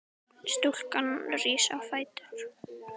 Stúlkan rís á fætur.